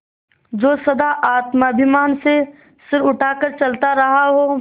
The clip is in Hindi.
जो सदा आत्माभिमान से सिर उठा कर चलता रहा हो